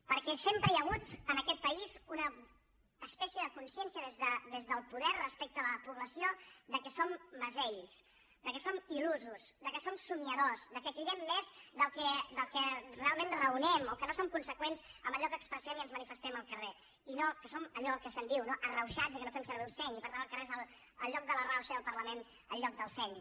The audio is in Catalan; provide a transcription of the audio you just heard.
perquè sempre hi ha hagut en aquest país una espècie de consciència des del poder respecte a la població que som mesells que som ildors que cridem més del que realment raonem o que no som conseqüents amb allò que expressem i sobre el qual ens manifestem al carrer i que som allò que se’n diu arrauxats i que no fem servir el seny i per tant el carrer és el lloc de la rauxa i el parlament el lloc del seny